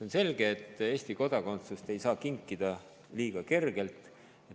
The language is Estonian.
On selge, et Eesti kodakondsust ei saa kinkida liiga kergelt.